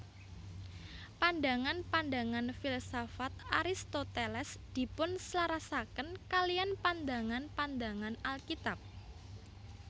Pandangan pandangan filsafat Aristoteles dipunselarasaken kaliyan pandangan pandangan Alkitab